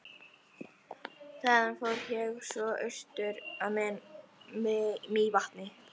Þaðan fór ég svo austur að Mývatni.